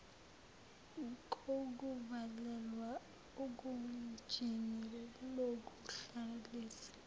kokuvalelwa egunjini lokuhlalisa